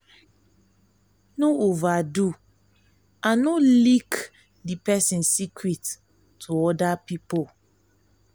no overdo and no leak di leak di person secret to oda people